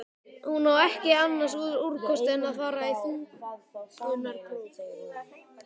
Hún á ekki annars úrkosti en að fara í þungunarpróf.